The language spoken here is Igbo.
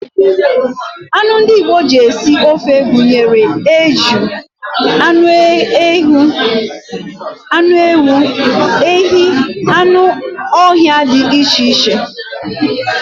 Anụ ndị Igbo ji ete ofe gụnyere eju, anụ ewu, ehi, anụ ọhịa dị iche iche